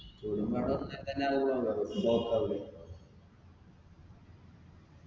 തോടും പാടോം ഒന്നായ് തന്നെ block ആവൂലേ